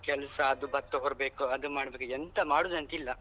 ಎಷ್ಟು ಕೆಲ್ಸ ಅದು ಭತ್ತ ಬರ್ಬೇಕು ಅದು ಮಾಡ್ಬೇಕು ಎಂತಾ ಮಾಡುದೆಂತಿಲ್ಲ.